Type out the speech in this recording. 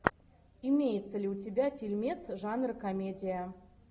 имеется ли у тебя фильмец жанр комедия